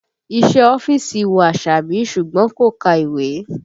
Iṣẹ́ ọ́fíìsì wù Àṣàbí ṣùgbọ́n kò ka ìwé